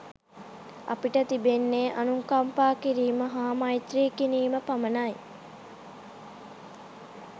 අපිට තිබෙන්නේ අනුකම්පා කිරීම හා මෛත්‍රී කිරීම පමණයි.